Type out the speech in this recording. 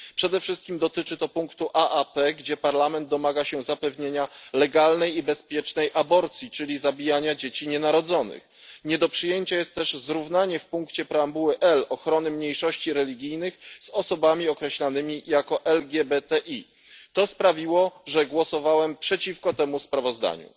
Przede wszystkim dotyczy to punktu aap, w którym Parlament domaga się zapewnienia legalnej i bezpiecznej aborcji, czyli zabijania dzieci nienarodzonych. Nie do przyjęcia jest też zrównanie w punkcie preambuły L ochrony mniejszości religijnych z ochroną osób określonych jako LGBTI. To sprawiło, że głosowałem przeciwko temu sprawozdaniu.